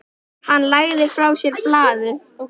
Hann lagði frá sér blaðið.